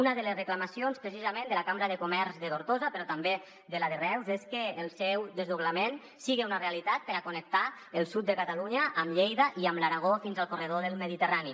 una de les reclamacions precisament de la cambra de comerç de tortosa però també de la de reus és que el seu desdoblament sigui una realitat per a connectar el sud de catalunya amb lleida i amb l’aragó fins al corredor mediterrani